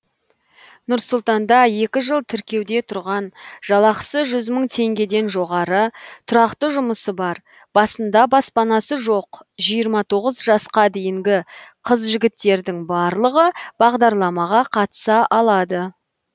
нұр сұлтанда екі жыл тіркеуде тұрған жалақысы жүз мың теңгеден жоғары тұрақты жұмысы бар басында баспанасы жоқ жиырма тоғыз жасқа дейінгі қыз жігіттердің барлығы бағдарламаға қатыса алады